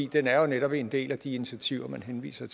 den er jo netop en del af de initiativer man henviser